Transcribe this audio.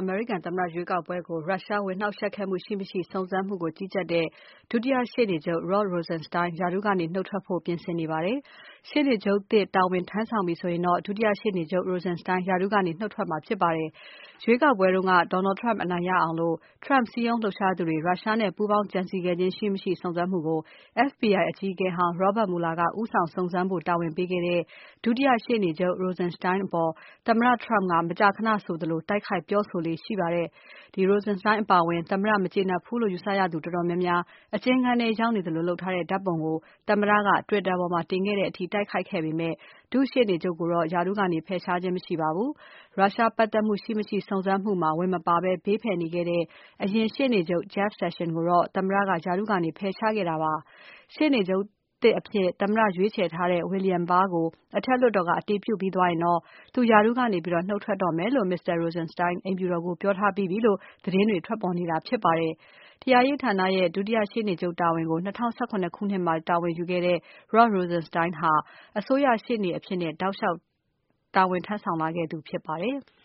အမေရိကန်သမ္မတရွေးကောက်ပွဲကို ရုရှားဝင်နှောင့်ယှက်ခဲ့မှုရှိ မရှိ စုံစမ်းမှုကို ကြီးကြပ်တဲ့ ဒုတိယရှေ့နေချုပ် Rod Rosenstein ရာထူးကနေ နုတ်ထွက်ဖို့ ပြင်ဆင်နေပါတယ်။ ရှေ့နေချုပ်သစ် တာဝန်ထမ်းဆောင်ပြီဆိုရင်တော့ ဒုတိယရှေ့နေချုပ် Rosenstein ရာထူးကနေ ထွက်တော့မှာဖြစ်ပါတယ်။ ရွေးကောက်ပွဲတုန်းက Donald Trump အနိုင်ရအောင် Trump စည်းရုံးလှုပ်ရှားသူတွေ ရုရှားနဲ့ပူးပေါင်းကြံစည်ခဲ့ခြင်းရှိမရှိ စုံစမ်းမှုကို FBI အကြီးအကဲဟောင်း Robert Mueller ကဦးဆောင်စုံစမ်းဖို့ တာဝန်ပေးခဲ့တဲ့ ဒုတိယရှေ့နေချုပ် Rosenstein အပေါ် သမ္မတ Trump က မကြာခဏဆိုသလို တိုက်ခိုက်ပြောဆိုလေ့ရှိပါတယ်။ Rosenstein အပါအဝင် Trump မကျေနပ်ဘူးလို့ယူဆရသူတော်တော်များများ အကျဉ်းခန်းထဲ ရောက်နေသလိုလုပ်ထားတဲ့ ဓါတ်ပုံကို သမ္မတက Twitter ပေါ်မှာ တင်ခဲ့တဲ့အထိ တိုက်ခိုက်ခဲ့ပေမဲ့ ဒုရှေ့နေချုပ်ကိုတော့ သူရာထူးကနေ ဖယ်ရှားခြင်း မရှိပါဘူး။ ရုရှားပါတ်သက်မှုရှိ မရှိ စုံစမ်းမှုမှာ ဝင်မပါဘဲ ဘေးဖယ်နေခဲ့တဲ့ အရင်ရှေ့နေချုပ် Jeff Sessions ကိုတော့ သမ္မတက ရာထူးကနေ ဖယ်ရှားခဲ့တာပါ။ ရှေ့နေချုပ်သစ်အဖြစ် သမ္မတရွေးချယ်ထားတဲ့ William Barr ကို အထက်လွှတ်တော်က အတည်ပြုပြီးသွားရင် သူရာထူးကနေ နုတ်ထွက်တော့မယ်လို့ အိမ်ဖြူတော်ကိုပြောထားပြီးပြီလို့ သတင်းတွေထွက်ပေါ် နေတာဖြစ်ပါတယ်။ တရားရေးဌာနရဲ့ ဒုရှေ့နေချုပ်တာဝန်ကို ၂၀၁၇ ခုနှစ်မှာ တာဝန်ယူခဲ့တဲ့ Rod Rosenstein ဟာအစိုးရရှေ့နေအဖြစ် တောက်လျှောက်တာဝန်ယူလာခဲ့သူဖြစ်ပါတယ်။